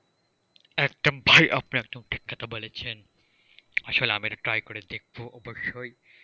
একদম ভাই আপনি একদম ঠিক কথা বলেছেন আসলে আমি এটা try করে দেখবো অবশ্যই।